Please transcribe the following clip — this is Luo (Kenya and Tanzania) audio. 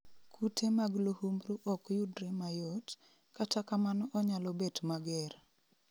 Kute mag luhumbru ok yudre mayot, kata kamano onyalo bet mager